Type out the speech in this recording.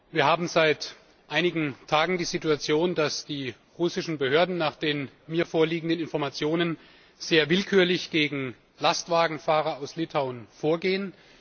Wir haben seit einigen Tagen die Situation, dass die russischen Behörden nach den mir vorliegenden Informationen sehr willkürlich gegen Lastwagenfahrer aus Litauen vorgehen.